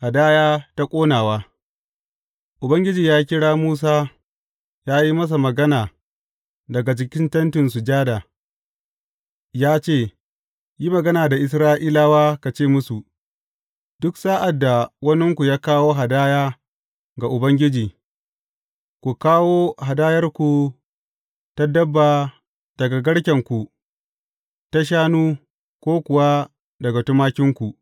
Hadaya ta ƙonawa Ubangiji ya kira Musa ya yi masa magana daga cikin Tentin Sujada ya ce, Yi magana da Isra’ilawa ka ce musu, Duk sa’ad da waninku ya kawo hadaya ga Ubangiji, ku kawo hadayarku ta dabba daga garkenku ta shanu ko kuwa daga tumakinku.